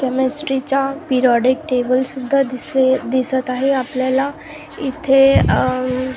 chemistry चा periodic table सुद्धा दिसे दिसत आहे आपल्याला इथे अह--